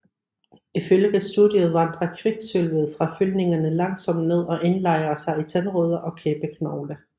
Ifølge studiet vandrer kviksølvet fra fyldningerne langsomt ned og indlejrer sig i tandrødder og kæbeknogle